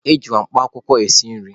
Ejikwa mkpa akwụkwọ esi nri.